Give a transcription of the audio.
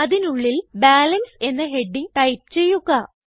അതിനുള്ളിൽ ബാലൻസ് എന്ന heading type ചെയ്യുക